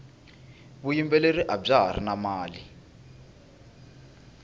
vuyimbeleri abya hari na mali